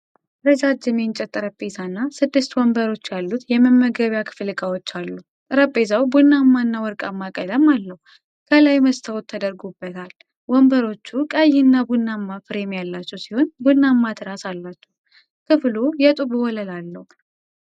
ረጃጅም የእንጨት ጠረጴዛና ስድስት ወንበሮች ያሉት የመመገቢያ ክፍል ዕቃዎች አሉ። ጠረጴዛው ቡናማና ወርቃማ ቀለም አለው፤ ከላይ መስታወት ተደርጎበታል። ወንበሮቹ ቀይና ቡናማ ፍሬም ያላቸው ሲሆን ቡናማ ትራስ አላቸው። ክፍሉ የጡብ ወለል አለው።